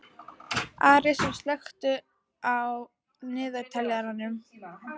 Arisa, slökktu á niðurteljaranum.